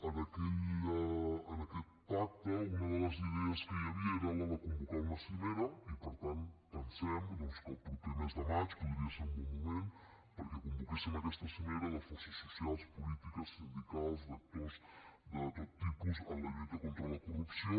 en aquest pacte una de les idees que hi havia era la de convocar una cimera i per tant pensem que el proper mes de maig podria ser un bon moment perquè convoquéssim aquesta cimera de forces socials polítiques sindicals d’actors de tot tipus en la lluita contra la corrupció